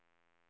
fönster